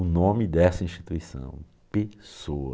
O nome dessa instituição, Pessoa.